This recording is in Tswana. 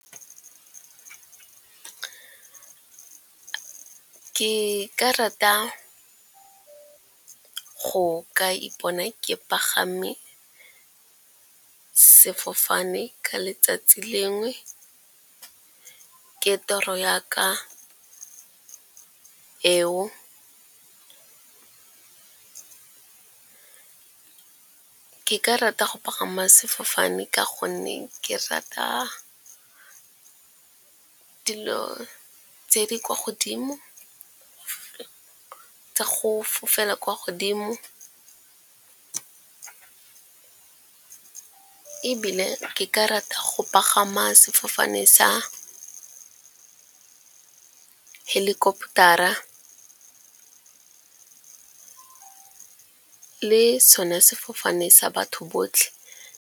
Ke rata go ka ipona ke pagame sefofane ka letsatsi lengwe, ke toro yaka eo. Ke ka rata go pagama sefofane ka gonne ke rata dilo tsa go fofela kwa godimo, ebile ke ka rata go pagama sefofane sa helicopter-a le sone sefofane sa batho botlhe.